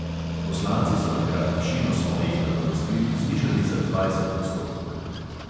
Poslanci so takrat višino svojih nadomestil znižali za dvajset odstotkov.